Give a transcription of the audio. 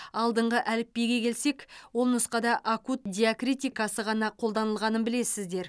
алдыңғы әліпбиге келсек ол нұсқада акут диакритикасы ғана қолданылғанын білесіздер